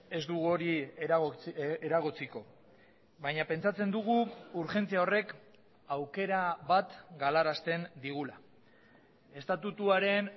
ez dugu hori eragotziko baina pentsatzen dugu urgentzia horrek aukera bat galarazten digula estatutuaren